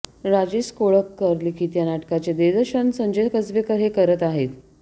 राजेश कोळबकर लिखित या नाटकाचे दिग्दर्शन संजय कसबेकर हे करत आहेत